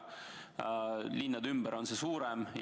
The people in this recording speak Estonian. Linnades ja linnade ümber nõutakse suuremat palka.